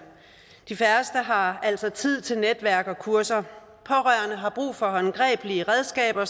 de færreste har altså tid til netværk og kurser og pårørende har brug for håndgribelige redskaber